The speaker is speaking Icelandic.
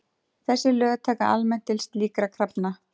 Þessi lög taka almennt til slíkra krafna.